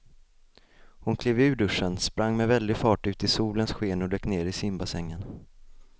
Hon klev ur duschen, sprang med väldig fart ut i solens sken och dök ner i simbassängen.